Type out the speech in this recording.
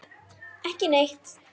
Ekki neitt.